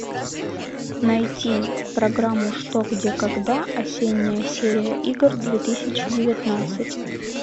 найти программу что где когда осенняя серия игр две тысячи девятнадцать